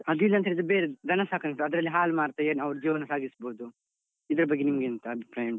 ಅದಿಲ್ಲಾಂತ್ಹೇಳಿದ್ರೆ ಬೇರೆ ದನ ಸಾಕಣೆ ಉಂಟು. ಅದ್ರಲ್ಲಿ ಹಾಲ್ ಮಾರ್ತ ಅವ್ರು ಜೀವನ ಸಾಗಿಸ್ಬೋದು, ಇದರ ಬಗ್ಗೆ ನಿಮ್ಗೆ ಎಂತ ಅಭಿಪ್ರಾಯ ಉಂಟು?